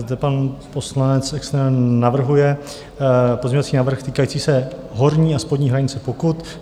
Zde pan poslanec Exner navrhuje pozměňovací návrh týkající se horní a spodní hranice pokut.